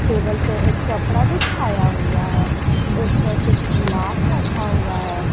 Table पर एक कपड़ा बिछाया हुआ है उस पर कुछ गिलास रखा हुआ है।